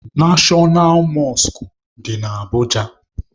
Neshọnal Mọskụ dị na Abụja